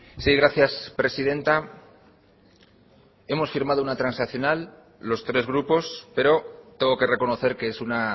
sí gracias presidenta hemos firmado una transaccional los tres grupos pero tengo que reconocer que es una